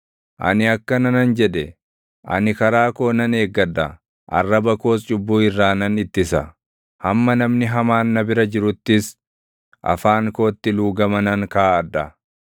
Ani akkana nan jedhe; “Ani karaa koo nan eeggadha; arraba koos cubbuu irraa nan ittisa; hamma namni hamaan na bira jiruttis, afaan kootti luugama nan kaaʼadha.”